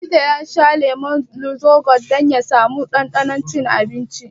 Likita ya ce ya sha lemun lucozade dan ya sa mu ɗanɗanon cin abinci.